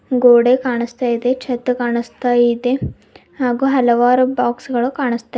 ಗೋಡೆ ಕಾಣಿಸ್ತಾ ಇದೆ ಛತ್ ಕಾಣಿಸ್ತಾ ಇದೆ ಹಾಗೂ ಹಲವಾರು ಬಾಕ್ಸ್ ಗಳು ಕಾಣಿಸ್ತಾ--